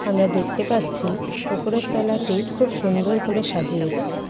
আমরা দেখতে পাচ্ছি উপরের তোলাটি খুব সুন্দর করে সাজিয়েছে।